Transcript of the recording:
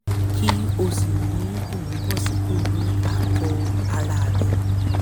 kí ó sì ní ìmúbọ̀sípò ní àgọ́ ara rẹ̀